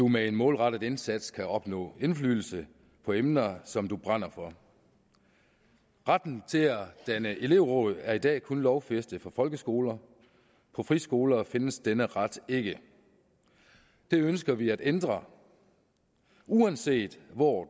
med en målrettet indsats kan opnå indflydelse på emner som man brænder for retten til at danne elevråd er i dag kun lovfæstet for folkeskoler på friskoler findes denne ret ikke det ønsker vi at ændre uanset hvor